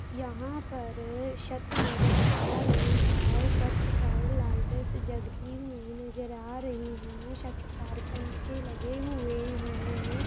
यहाँ पर छत नजर आ रही है छत पर लाइटस जगती हुई नजर आ रही है छत पर पंखे लगे हुए है।